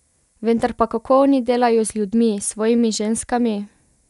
Vendar pa kako oni delajo z ljudmi, s svojimi ženskami?